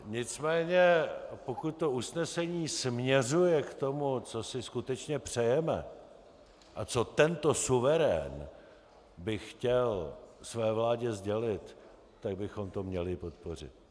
Nicméně pokud to usnesení směřuje k tomu, co si skutečně přejeme a co tento suverén by chtěl své vládě sdělit, tak bychom to měli podpořit.